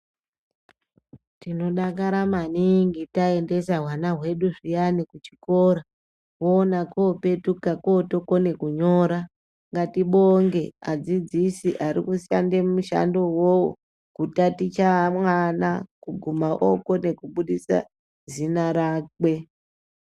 Tinodakara maningi taendesa hwana hwedu zviyani kuzvikora woona kotopetuka kokone kunyora ngatibonge vadzidzisi varikushande mushando wonaiwowo kutaticha vana kusvika okone kubudisa zita rake.